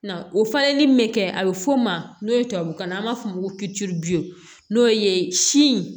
Na o falenli min bɛ kɛ a bɛ f'o ma n'o ye tubabukan na an b'a fɔ o ma ko n'o ye sin